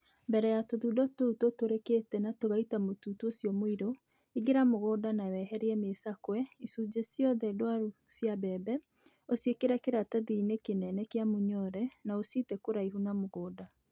Mbere ya tũthundo tũu tũtũrĩkĩte na tũgaita mũtutu ũcio mũirũ, ingĩra mũgũnda na weherie mĩcakwe/icũnjĩ ciothe ndwaru cia mũbebe, ũciĩkĩre kĩratathi-inĩ kĩnene kĩa mũnyore na ũcite kũraihu na mũgũnda.